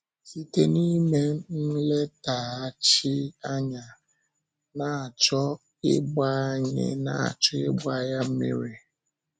Site n’ime nlétàghàchí, anyị na-achọ ịgba anyị na-achọ ịgba ya mmiri.